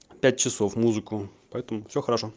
пять часов музыку поэтому все хорошо